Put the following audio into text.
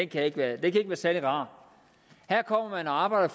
kan ikke være særlig rar her kommer man og arbejder